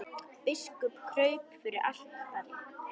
Biskup kraup fyrir altari.